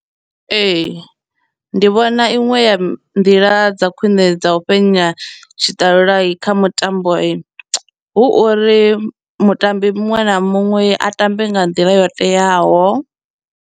Ee, ndi vhona iṅwe ya nḓila dza khwiṋe dza u fhenya tshiṱalula kha mutambo hu uri mutambi muṅwe na muṅwe a tambe nga nḓila yo teaho.